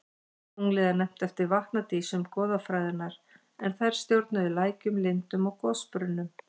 Tunglið er nefnt eftir vatnadísum goðafræðinnar en þær stjórnuðu lækjum, lindum og gosbrunnum.